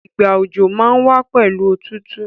Ìgbà òjò má n wa pẹ̀lu otútù